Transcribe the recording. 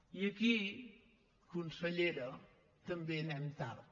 i aquí consellera també anem tard